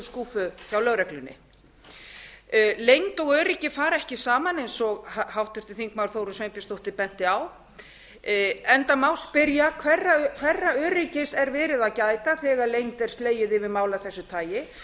skúffu hjá lögreglunni leynd og öryggi fara ekki saman eins og háttvirtur þingmaður þórunn sveinbjarnardóttir benti á enda má spyrja hverra öryggis er verið að gæta þegar leynd er slegið yfir mál af þessu tagi